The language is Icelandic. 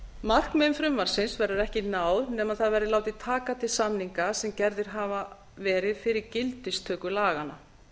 markmiðum frumvarpsins verður ekki náð nema það verði látið taka til samninga sem gerðir hafa verið fyrir gildistöku laganna